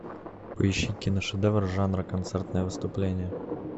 поищи киношедевр жанра концертное выступление